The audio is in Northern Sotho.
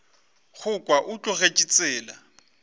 go kwa o tlogetše tsela